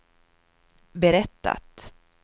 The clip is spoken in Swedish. berättat